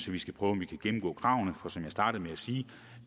vi skal prøve gennemgå kravene for som jeg startede med at sige